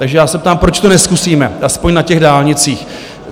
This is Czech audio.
Takže já se ptám, proč to nezkusíme aspoň na těch dálnicích?